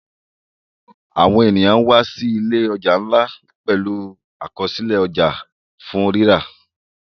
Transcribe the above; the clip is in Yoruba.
Àwọn ènìyàn wá sí ìlé ọja nlá pẹlú Àkọsílẹ̀ ọjà fún rírà.